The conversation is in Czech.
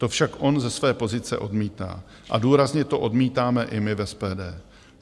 To však on ze své pozice odmítá a důrazně to odmítáme i my v SPD.